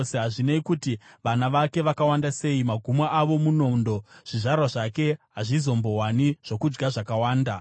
Hazvinei kuti vana vake vakawanda sei, magumo avo munondo; zvizvarwa zvake hazvizombowani zvokudya zvakakwana.